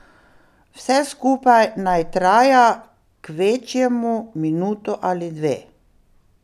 Vse skupaj naj traja kvečjemu minuto ali dve.